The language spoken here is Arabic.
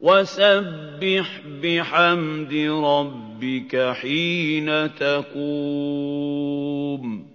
وَسَبِّحْ بِحَمْدِ رَبِّكَ حِينَ تَقُومُ